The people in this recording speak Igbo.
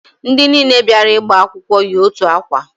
Ndị niile bịara ịgba akwụkwọ yi otu akwa